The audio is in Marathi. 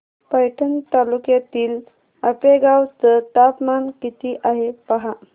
पैठण तालुक्यातील आपेगाव चं तापमान किती आहे पहा